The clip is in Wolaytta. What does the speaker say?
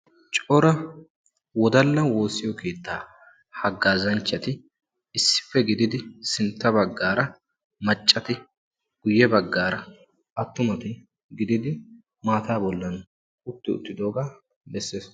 cora wodalla woosiyo keetta hagaazanchati issippe gididi sintta bagaara macati guye bagaara maataa bilan issippe giddidi maataa bolan uttidoogaa besees.